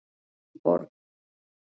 Elínborg